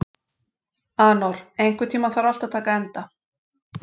Anor, einhvern tímann þarf allt að taka enda.